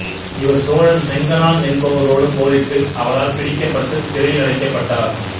இவர் சோழன் செங்கணான் என்பவரோடு போரிட்டு அவரால் பிடிக்கப்பட்டுச் சிறையில் அடைக்கபட்டார்